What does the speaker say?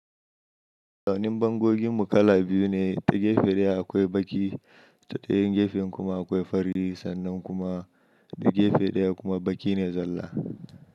Zanen bangoginmu kala biyu ne, ta gefe ɗaya akwai baƙi ta ɗayan gefen kuma akwai fari, sannan kuma ta gefe ɗaya kuma baƙine zalla.